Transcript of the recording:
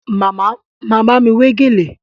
Màmá ma bámi wé gèlè